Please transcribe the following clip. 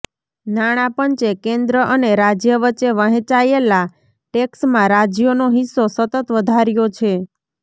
નાણાં પંચે કેન્દ્ર અને રાજ્ય વચ્ચે વહેંચાયેલા ટેક્સમાં રાજ્યોનો હિસ્સો સતત વધાર્યો છે